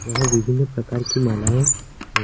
यहाँ विभिन्न प्रकार की मालाएं है।